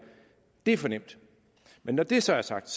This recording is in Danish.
er for nemt når det så er sagt